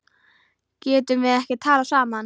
Getum við ekki talað saman?